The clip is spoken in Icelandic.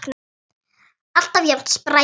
Alltaf jafn spræk og fjörug.